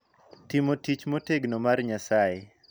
Timo tich motegno mar Nyasaye.